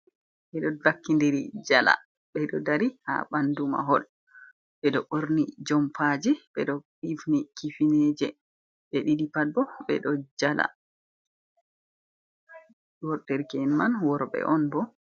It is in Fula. Ɓe ɗo bakkindiri jala, ɓe ɗo dari haa ɓanndu mahol, ɓe ɗo ɓorni jompaaji, ɓe ɗo hifni kifineeje, ɓe ɗiɗi pat bo, ɓe ɗo jala, dereke'en man worɓe on bo.